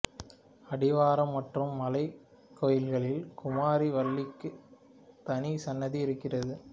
அடிவாரம் மற்றும் மலைக்கோயிலில் குமரி வள்ளிக்கு தனி சன்னதி இருக்கிறது